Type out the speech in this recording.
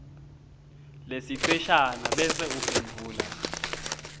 lesiceshana bese uphendvula